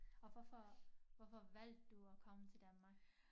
Og hvorfor hvorfor valgte du at komme til Danmark